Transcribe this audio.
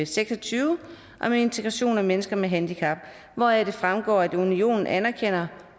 seks og tyve om integration af mennesker med handicap hvoraf det fremgår at unionen anerkender